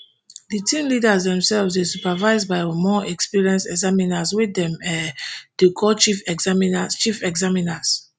di team leaders themselves dey supervised by more experienced examiners wey dem um dey call chief examiners chief examiners